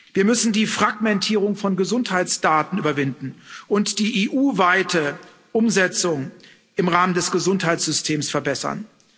Wir müssen die Fragmentierung von Gesundheitsdaten überwinden und die EU weite Umsetzung im Rahmen des Gesundheitssystems verbessern.